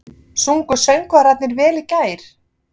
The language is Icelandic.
Sungu söngvararnir vel í gær?